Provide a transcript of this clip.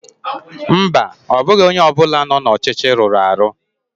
mba, ọ bụghị onye ọ bụla nọ n'ọchịchị rụrụ arụ